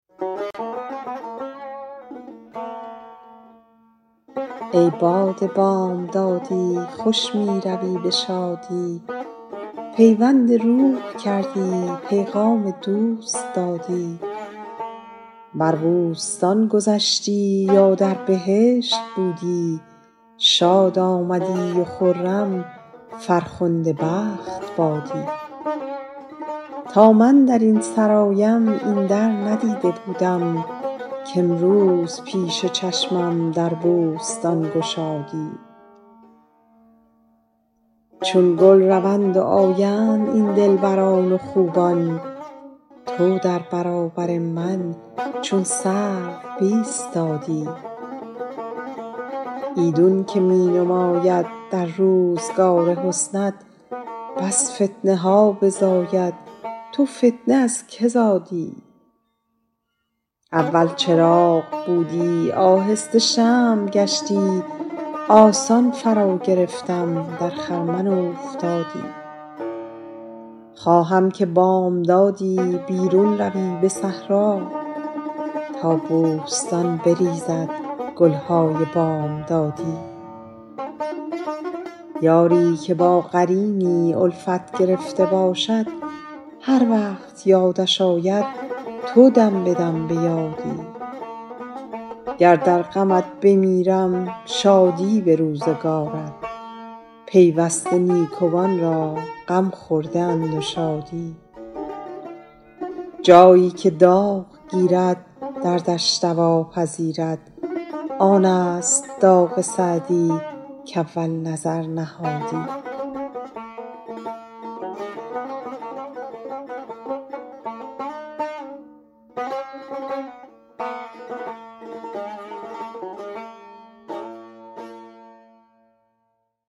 ای باد بامدادی خوش می روی به شادی پیوند روح کردی پیغام دوست دادی بر بوستان گذشتی یا در بهشت بودی شاد آمدی و خرم فرخنده بخت بادی تا من در این سرایم این در ندیده بودم کامروز پیش چشمم در بوستان گشادی چون گل روند و آیند این دلبران و خوبان تو در برابر من چون سرو بایستادی ایدون که می نماید در روزگار حسنت بس فتنه ها بزاید تو فتنه از که زادی اول چراغ بودی آهسته شمع گشتی آسان فراگرفتم در خرمن اوفتادی خواهم که بامدادی بیرون روی به صحرا تا بوستان بریزد گل های بامدادی یاری که با قرینی الفت گرفته باشد هر وقت یادش آید تو دم به دم به یادی گر در غمت بمیرم شادی به روزگارت پیوسته نیکوان را غم خورده اند و شادی جایی که داغ گیرد دردش دوا پذیرد آن است داغ سعدی کاول نظر نهادی